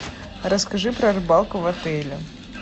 расскажи про рыбалку в отеле